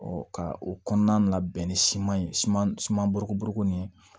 ka o kɔnɔna labɛn ni siman ye siman siman borokoboroko nin ye